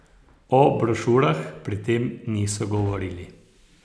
O brošurah pri tem niso govorili.